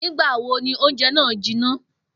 Nígbà wo ni oúnje̩ náà jiná?